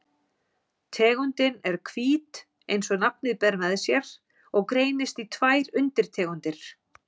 Tegundin er hvít eins og nafnið ber með sér og greinist í tvær undirtegundir.